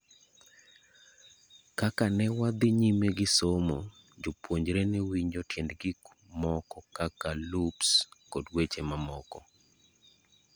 Kaka newadhi nyime gisomo, jopuonjre ne winjo tiend gik moko kaka loops, kod weche mamoko.